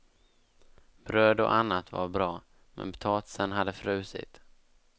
Bröd och annat var bra, men potatisen hade frusit.